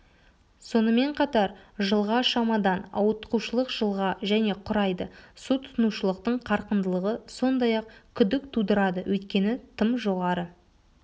сонымен қатар жылға шамадан ауытқушылық жылға және құрайды су тұтынушылықтың қарқындылығы сондай-ақ күдік тудырады өйткені тым жоғары